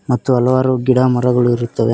ಮತ್ತು ಹಲವಾರು ಗಿಡ ಮರಗಳು ಇರುತ್ತವೆ.